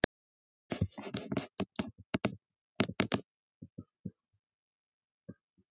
Í fréttinni segir að þeir félagar hafa rifist heiftarlega á æfingu.